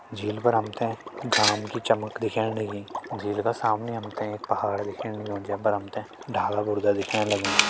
झील पर हम तें घाम की चमक दिखेण लगीं झील का सामनि हम तें एक पहाड़ दिखेण लग्युं जे पर हम तें डाला बुर्दा दिखेण लग्यां।